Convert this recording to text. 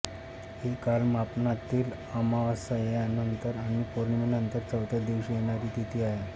ही कालमापनातील अमावास्येनंतर आणि पौर्णिमेनंतर चौथ्या दिवशी येणारी तिथी आहे